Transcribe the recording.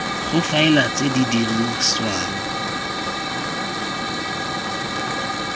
go faela tse di dirisiwang